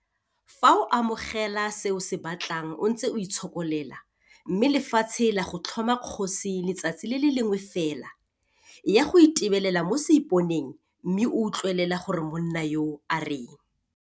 Fa o amogela se o se batlang o ntse o itshokolela mme lefatshe la go tlhoma kgosi letsatsi le le lengwe fela, eya go itebelela mo seiponeng mme utlwelela gore monna yoo a reng.